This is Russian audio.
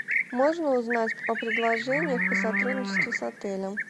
можно узнать о предложениях о сотрудничестве с отелем